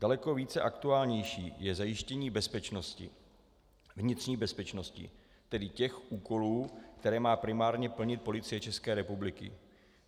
Daleko více aktuální je zajištění bezpečnosti, vnitřní bezpečnosti, tedy těch úkolů, které má primárně plnit Policie České republiky.